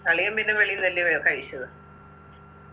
അളിയൻ പിന്നെ വെളിന്ന് വല്യവയൊ കഴിച്ചതാ